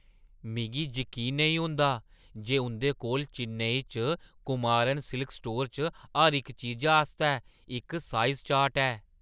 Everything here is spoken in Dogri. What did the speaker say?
मिगी जकीन नेईं होंदा जे उंʼदे कोल चेन्नई च कुमारन सिल्क स्टोर च हर इक चीजा आस्तै इक साइज चार्ट ऐ।